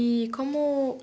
E como